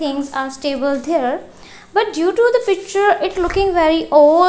things are stable there but due to the picture it looking very old.